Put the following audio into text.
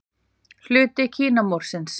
Hluti Kínamúrsins.